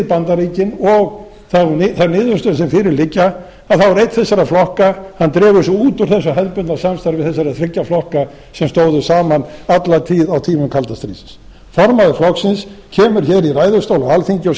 bandaríkin og þær niðurstöður sem fyrir liggja þá dregur einn þessara flokka sig út er þessu hefðbundna samstarfi þessara þriggja flokka sem stóðu saman alla tíð á tímum kalda stríðsins formaður flokksins kemur í ræðustól á alþingi og